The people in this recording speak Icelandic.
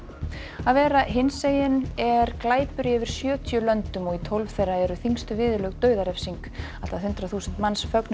að vera hinsegin er glæpur í yfir sjötíu löndum og í tólf þeirra eru þyngstu viðurlög dauðarefsing allt að hundrað þúsund manns fögnuðu